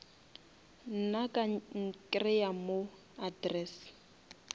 nna ka nkreya mo address